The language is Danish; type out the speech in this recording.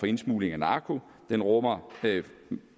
indsmugling af narko og den rummer